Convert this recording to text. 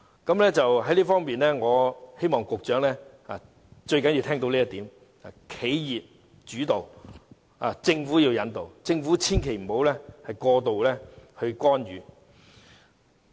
在這方面，我希望局長聽到這最重要的一點，便是企業主導，政府引導，政府千萬別過度干預。